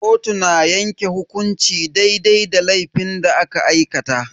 Kotu na yanke hukunci daidai da laifin da aka aikata.